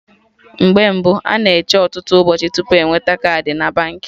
Mgbe mbụ, a na-eche ọtụtụ ụbọchị tupu enweta kaadị na Baankị